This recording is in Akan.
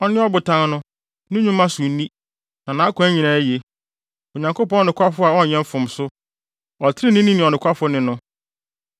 Ɔne Ɔbotan no, ne nnwuma so nni, na nʼakwan nyinaa ye. Onyankopɔn nokwafo a ɔnyɛ mfomso, Ɔtreneeni ne ɔnokwafo ne no.